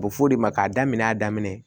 U bɛ f'o de ma k'a daminɛ a daminɛ